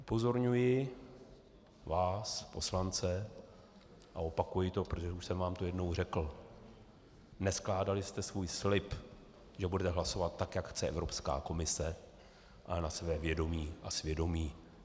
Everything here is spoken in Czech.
Upozorňuji vás, poslance, a opakuji to, protože už jsem vám to jednou řekl: Neskládali jste svůj slib, že budete hlasovat tak, jak chce Evropská komise, ale na své vědomí a svědomí.